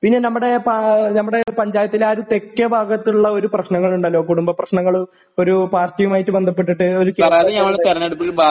പിന്നെ നമ്മുടെ പഞ്ചായത്തിലെ ആ ഒരു തെക്കേ ഭാഗത്തുള്ള ഒരു പ്രശ്നങ്ങളുണ്ടല്ലോ? കുടുംബപ്രശ്നങ്ങള്? ഒരു പാർട്ടിയുമായി ബന്ധപ്പെട്ടിട്ട്.ഒരു